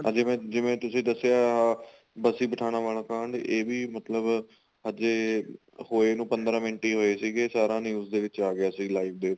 ਜਿਵੇਂ ਜਿਵੇਂ ਤੁਸੀਂ ਦੱਸਿਆ ਬਸੀ ਪਠਾਣਾ ਵਾਲਾ ਕਾਂਡ ਇਹ ਵੀ ਮਤਲਬ ਹਜੇ ਹੋਏ ਨੂੰ ਪੰਦਰਾਂ ਮਿੰਟ ਹੀ ਹੋਏ ਸੀਗੇ ਸਾਰਾ news ਦੇ ਵਿੱਚ ਹੀ ਆ ਗਿਆ ਸੀ live ਤੇ